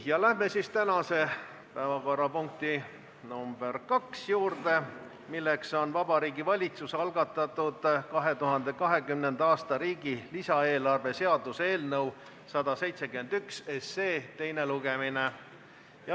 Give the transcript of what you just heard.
Läheme tänase päevakorrapunkti nr 2 juurde, milleks on Vabariigi Valitsuse algatatud 2020. aasta riigi lisaeelarve seaduse eelnõu 171 teine lugemine.